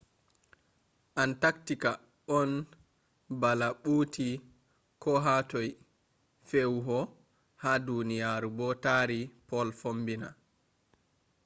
antarctica on bala ɓuti ko hatoi feewuho ha duniyaaru bo taari pol fombina